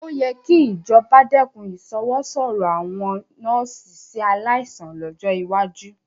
Ó yẹ kí ìjọba dẹ́kun ìṣọwọ́sọ̀rọ̀ àwọn nọ́ọ́sì sí aláìsàn lọ́jọ́ iwájú